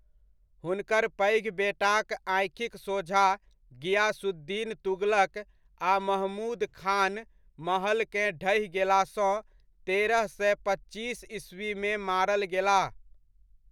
हुनकर पैघ बेटाक आँखिक सोझा गियासुद्दीन तुगलक आ महमूद खान महलकेँ ढहि गेलासँ तेरह सए पच्चीस ईस्वीमे मारल गेलाह।